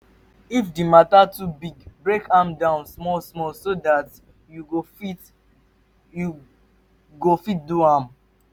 if di mata too big break am down small small so dat yu go fit yu go fit do am